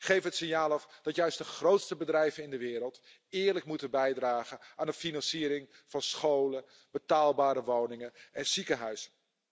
Geef het signaal af dat juist de grootste bedrijven in de wereld eerlijk moeten bijdragen aan de financiering van scholen, betaalbare woningen en ziekenhuizen.